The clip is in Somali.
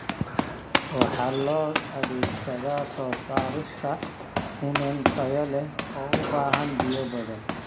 Waxa loo adeegsadaa soo saarista iniin tayo leh oo u baahan biyo badan.